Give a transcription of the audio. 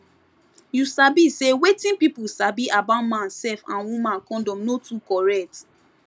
you sabi say wetin pipu sabi about man sef and woman condom no too correct